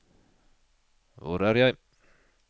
hvor er jeg